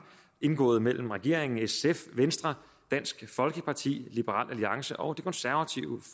indgået mellem regeringen sf venstre dansk folkeparti liberal alliance og det konservative